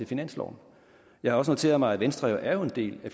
finansloven jeg har også noteret mig at venstre er en del af